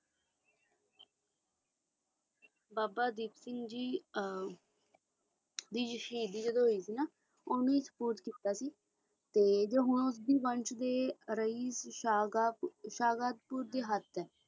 ਬਾਬਾ ਦੀਪ ਸਿੰਘ ਜੀ ਵੀ ਸ਼ਹੀਦ ਹੋਏ ਨਾ ਤਯ ਉਨ੍ਹੀ ਹੀ ਸਪੋਰਟ ਕੀਤਾ